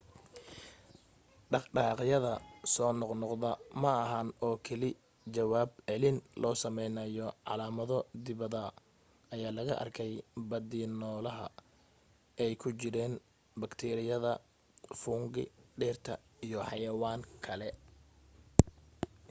dhaqdhaqaaqyada soo noqnoqdo ma ahan oo keli ah jawaab celin loo samaynaayo calaamado dibadda ayaa laga arkay badi nolaha ay ku jiraan baktiiriyada fungi dhirta iyo xayawaanka kale